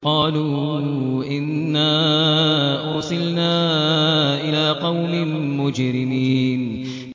قَالُوا إِنَّا أُرْسِلْنَا إِلَىٰ قَوْمٍ مُّجْرِمِينَ